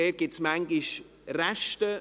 Dort gibt es manchmal Resten.